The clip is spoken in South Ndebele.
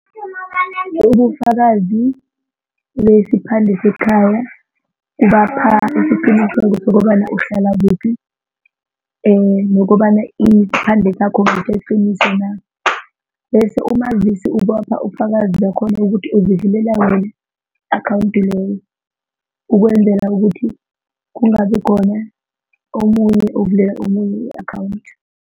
ubufakazi besiphande sekhaya kubapha isiqiniseko sokobana uhlala kuphi nokobana isiphande sakho ngeseqiniso na, bese umazisi ubapha ubufakazi bakhona ukuthi uzivulela wena i-akhawundi leyo ukwenzela ukuthi kungabi khona omunye ovulela omunye i-akhawundi.